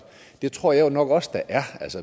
det tror jeg jo nok også der er